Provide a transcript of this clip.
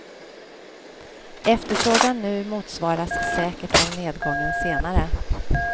Efterfrågan nu motsvaras säkert av nedgången senare.